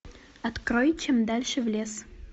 открой чем дальше в лес